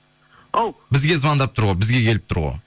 ау бізге звондап тұр ғой бізге келіп тұр ғой